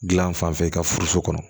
Gilan fanfɛ i ka furuso kɔnɔ